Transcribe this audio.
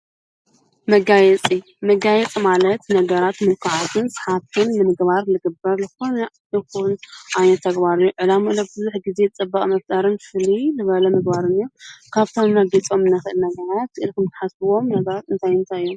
መጋየፂ፡-መጋይፂ ማለት ነገራት ምልኩዓትን ሰሓብትን ንምግባር ልግብር ዝኾነ ይኹን ተግባር እዮ፡፡ ዕላምኡ ለለ ብዙሐ ጊዜ ጥባቕ መፍጣርን ፍልይ ዝበለ ምግባርን እዩ፡፡ ካብፍቶም ነጊፆም ከ ነገራት ኢልኽም ትሓስብዎም ነበረት እንታይ እንታይ እዮም?